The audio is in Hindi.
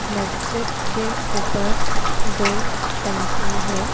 मस्जिद के ऊपर दो टंकी हैं।